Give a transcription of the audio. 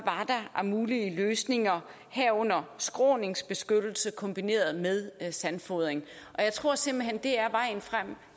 af mulige løsninger herunder skråningsbeskyttelse kombineret med sandfodring og jeg tror simpelt hen det er vejen frem